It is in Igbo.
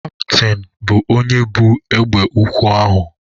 Kaptịn bụ onye bu egbe ukwu ahụ.